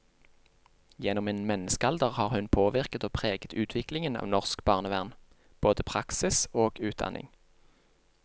Gjennom en menneskealder har hun påvirket og preget utviklingen av norsk barnevern, både praksis og utdanning.